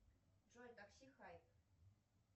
джой такси хайп